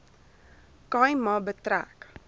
khai ma betrek